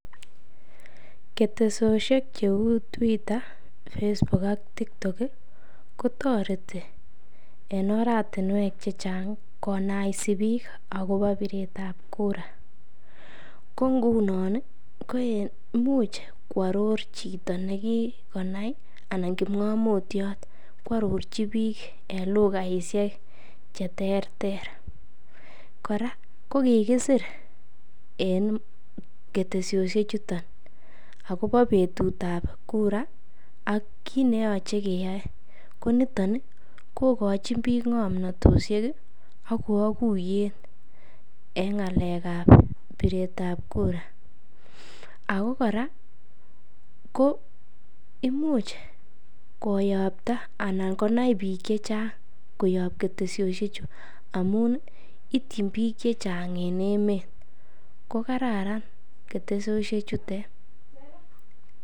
ketesosheek cheuu Twitter, Facebook ak Tiktok iih kotoreti en oratinweek chechang konaisi biik agobo bireet ab kura, ngo ngunon iih komuch kworoor chito negigonai anan kipngomutyoot kworochi biik en lugaishek cheterter, koraa ko kigisiir en ketesosyeek chuton agobo betuut ab kura ak kiit neyoche keyoe, koniton iih kogochin biik ngomnotoshek iih ak kaguyeet en ngaleek ab bireet ab kura, ago kora ko imuch koyokta anai konai biik chechang koyoob ketesosyechu amuun ityiin biik chechang en emeet, kogararan ketesosyechutet.